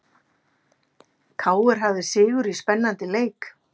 KR hafði sigur í spennandi leik